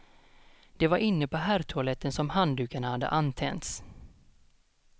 Det var inne på herrtoaletten som handdukar hade antänts.